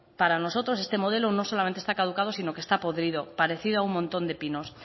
para nosotros este modelo no solamente esta caducado sino que está podrido parecido a un montón de pinos